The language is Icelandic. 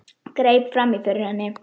Greip fram í fyrir henni.